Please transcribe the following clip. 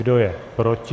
Kdo je proti?